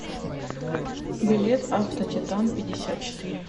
билет автотитан пятьдесят четыре